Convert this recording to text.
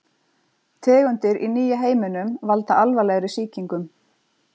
Tegundir í nýja heiminum valda alvarlegri sýkingum.